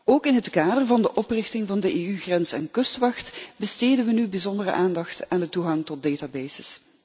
Ook in het kader van de oprichting van de Europese grens en kustwacht besteden we nu bijzondere aandacht aan de toegang tot databases.